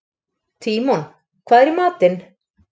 Tímon, hvað er í matinn?